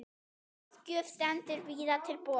Ráðgjöf stendur víða til boða.